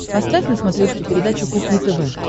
поставь на смотрешке передачу кухня тв